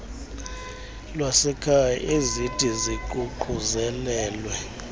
lwasekhaya ezithi ziququzelelwe